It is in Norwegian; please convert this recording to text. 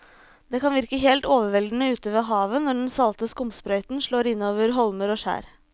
Det kan virke helt overveldende ute ved havet når den salte skumsprøyten slår innover holmer og skjær.